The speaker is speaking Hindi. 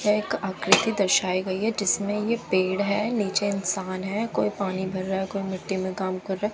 एक आकृति दर्शाई गई है जिसमें ये पेड़ है नीचे इंसान है कोई पानी भर रहा है कोई मिट्टी में काम कर रहा है।